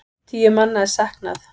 Tíu manna er saknað.